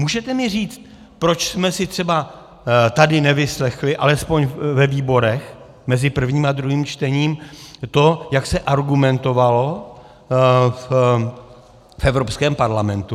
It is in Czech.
Můžete mi říct, proč jsme si třeba tady nevyslechli, alespoň ve výborech mezi prvním a druhým čtením, to, jak se argumentovalo v Evropském parlamentu?